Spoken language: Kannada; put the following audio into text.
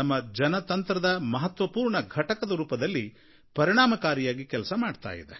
ನಮ್ಮ ಜನತಂತ್ರದ ಮಹತ್ವಪೂರ್ಣ ಘಟಕದ ರೂಪದಲ್ಲಿ ಪರಿಣಾಮಕಾರಿಯಾಗಿ ಕೆಲಸ ಮಾಡ್ತಾ ಇದೆ